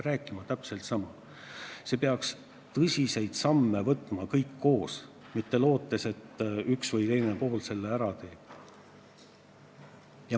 Me peaks tõsiseid samme astuma kõik koos, mitte lootes, et üks või teine pool selle ära teeb.